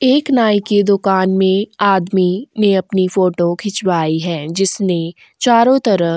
एक नाई की दुकान में आदमी ने अपनी फोटो खिंचवाई है जिसने चारों तरफ --